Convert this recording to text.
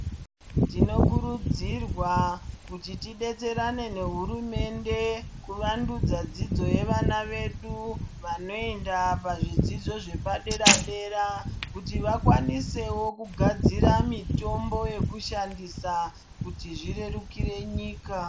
Tinokurudzirwa kuti tidetserane nehurumende kuvandudza dzidzo yevana vedu vanoenda pazvidzidzo zvepadera dera kuti vakwanisewo kugadzira mitombo yekushandisa kuti zvirerukire nyika.